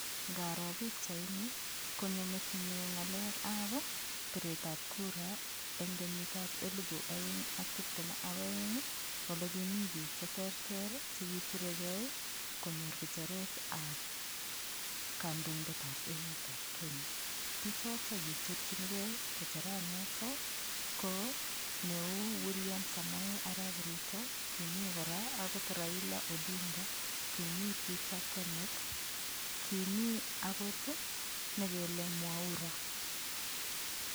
Ngaro pikchaini konyo metinyu ng'alekab piretab kuru eng' kenyitab elibu oeng' ak tiptem ak oeng' ole kimii biik cheterter chekiturekei konyor kicheretab kandoindetab emetab kenya bichotok kiturchinigei kicheranoto ko neu William Samoei arap Ruto Kimi kora akot Raila Odinga kimi Peter Kenneth Kimi akot nekele Mwaura